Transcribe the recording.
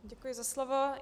Děkuji za slovo.